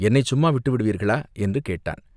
என்னைச் சும்மா விட்டுவிடுவீர்களா, என்று கேட்டான்.